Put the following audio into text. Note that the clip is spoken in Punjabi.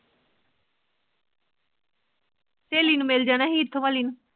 ਸਹੇਲੀ ਨੂੰ ਮਿਲ ਜਾਣਾ ਸੀ ਇਥੋ ਵਾਲੀ ਨੂੰ